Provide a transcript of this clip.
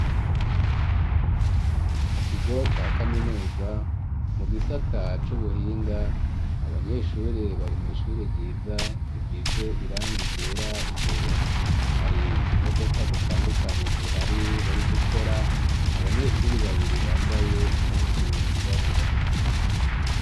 Mu kigo ca kaminuza mu gisata c'ubuhinga, abanyeshuri bari mu'ishuri ryiza hisize irangi ryera imbere hari imodoka zitandukanye zihari bari gukora abanyeshuri babiri bambaye impuzu zirabura.